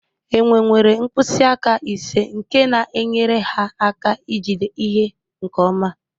Enwe nwere mkpịsị aka ise nke na-enyere ha aka ijide ihe nke ọma